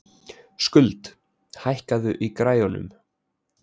Skuld, hækkaðu í græjunum.